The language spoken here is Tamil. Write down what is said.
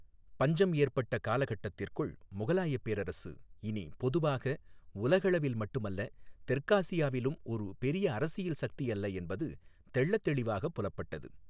பஞ்சம் ஏற்பட்ட காலகட்டத்திற்குள், முகலாயப் பேரரசு இனி பொதுவாக உலகளவில் மட்டுமல்ல தெற்காசியாவிலும் ஒரு பெரிய அரசியல் சக்தியல்ல என்பது தெள்ளத் தெளிவாகப் புலப்பட்டது.